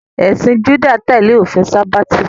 Ẹ̀sìn Júdà ń tẹ́lẹ̀ òfin sábáàtì